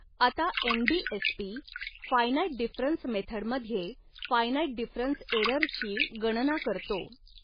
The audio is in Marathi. आता N B S P finite difference मेथडमध्ये फायनाईट डिफरन्स एरर ची गणना करतो.